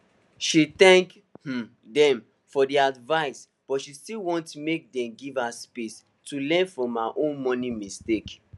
she thank um dem for the advice but she still want make dem give her space to learn from her own money mistakes